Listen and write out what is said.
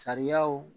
Sariyaw